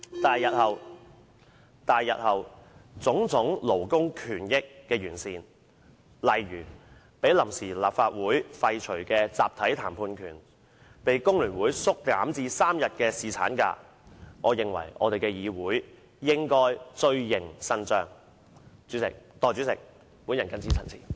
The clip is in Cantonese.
對於種種勞工權益，包括被臨時立法會廢除的"集體談判權"，以及被工聯會縮減至3天的男士侍產假，我認為立法會日後應伸張正義，繼續完善有關安排。